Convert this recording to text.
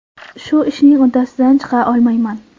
Shu ishning uddasidan chiqa olmayman.